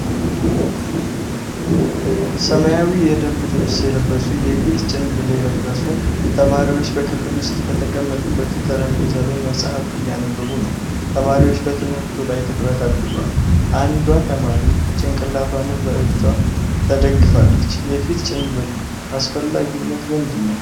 ሰማያዊ የደንብ ልብስ የለበሱ፣ የፊት ጭንብል ያደረጉ ተማሪዎች በክፍል ውስጥ በተቀመጡበት ጠረጴዛ ላይ መጽሐፍ እያነበቡ ነው። ተማሪዎቹ በትምህርቱ ላይ ትኩረት አድርገዋል። አንዷ ተማሪ ጭንቅላቷን በእጇ ተደግፋለች። የፊት ጭንብል አስፈላጊነት ምንድን ነው?